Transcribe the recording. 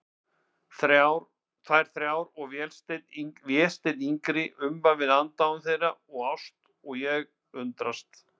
Þær þrjár og Vésteinn yngri umvafinn aðdáun þeirra og ást, og ég undrast.